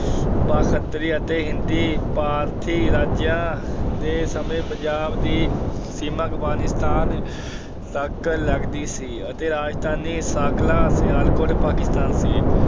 ਬਾਖਤਰੀ ਅਤੇ ਹਿੰਦੀ ਫਾਰਸੀ ਰਾਜਾਂ ਦੇ ਸਮੇਂ ਪੰਜਾਬ ਦੀ ਸੀਮਾ ਅਫਗਾਨਿਸਤਾਨ ਤੱਕ ਲੱਗਦੀ ਸੀ ਅਤੇ ਰਾਜਧਾਨੀ ਸਾਕਲਾ, ਸਿਆਲਕੋਟ ਪਾਕਿਸਤਾਨ ਸੀ।